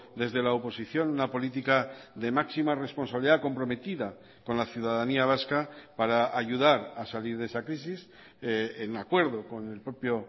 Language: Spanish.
desde la oposición una política de máxima responsabilidad comprometida con la ciudadanía vasca para ayudar a salir de esa crisis en acuerdo con el propio